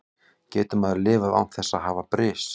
Getur maður lifað án þess að hafa bris?